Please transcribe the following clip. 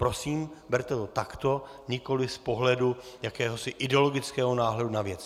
Prosím, berte to takto, nikoliv z pohledu jakéhosi ideologického náhledu na věc.